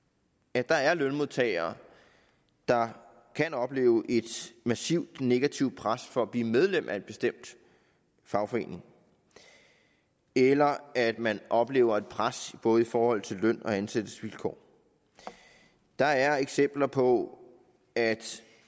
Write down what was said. at der er lønmodtagere der kan opleve et massivt negativt pres for at blive medlem af en bestemt fagforening eller at man oplever et pres både i forhold til løn og ansættelsesvilkår der er eksempler på at